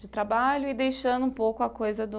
De trabalho e deixando um pouco a coisa do...